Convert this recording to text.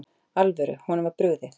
alvöru, honum var brugðið.